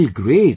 Well great